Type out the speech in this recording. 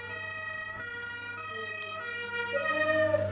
ਹਾਂਜੀ ਤੇ ਫਿਰ